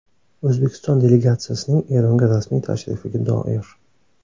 O‘zbekiston delegatsiyasining Eronga rasmiy tashrifiga doir.